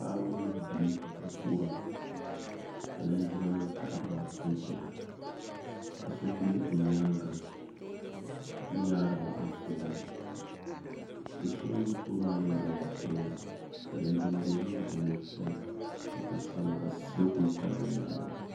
paɣiba mini bia n-kuhira ka linjimanima taɣiri ba n-chana ka so be bɛ nyaaŋga n-yaari ba anfooni do' so ŋun be tooni maa yɛla daliya piɛlli ka linjin' doo maa gba mi pili zipil' sabilinli ka salo kuli pali bɛ nyaaŋga